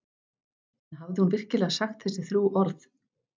En hafði hún virkilega sagt þessi þrjú orð?